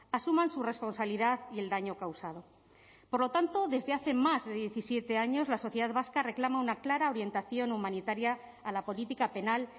asuman su responsabilidad y el daño causado por lo tanto desde hace más de diecisiete años la sociedad vasca reclama una clara orientación humanitaria a la política penal